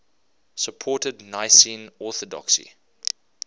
supported nicene orthodoxy